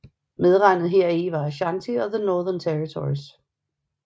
Medregnet heri var Aschanti og The Northern Territories